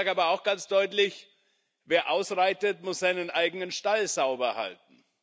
Ich sage aber auch ganz deutlich Wer ausreitet, muss seinen eigenen Stall sauber halten.